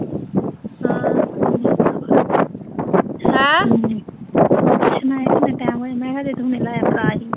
ਉਹ ਪੁੱਛਣ ਆਇਆ ਸੀ, ਕਿੰਨਾ ਟਾਈਮ ਹੋਇਆ, ਮੈਂ ਕਿਆ ਜਦੋਂ ਤੂੰ ਮੇਰੇ ਲਵੇ ਆਇਆ ਫੜਾ ਜੀਂ